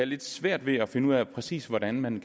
lidt svært ved at finde ud af præcis hvordan man